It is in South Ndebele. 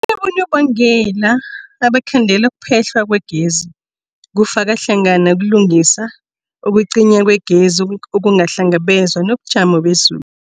Kunabonobangela abangakhandela ukuphehlwa kwegezi, kufaka hlangana ukulungisa, ukucinywa kwegezi okungakahlelwa, nobujamo bezulu.